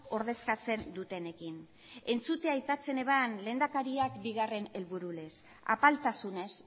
ordezkatzen dutenekin entzutea aipatzen zuen lehendakariak bigarren helburu lez apaltasunez